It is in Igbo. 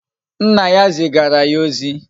Nna ya zigara ya ozi